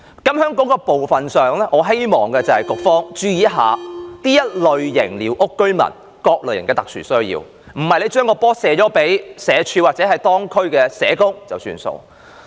對於這問題，我希望局方注意這類寮屋居民的各種特殊需要，而非將責任推諉予社會福利署或當區社工便作罷。